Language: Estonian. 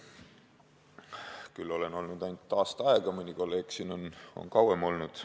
Olen seda olnud küll ainult aasta, mõni siinne kolleeg on kauem olnud.